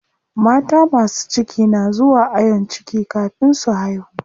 Mata masu ciki na zuwa ayon ciki kafin su haihu.